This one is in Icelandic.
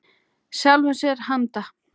Sjálfum sér til handa.